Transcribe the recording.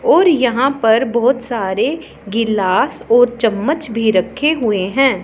और यहां पर बहोत सारे गिलास और चम्मच भी रखे हुए हैं।